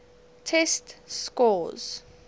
test scores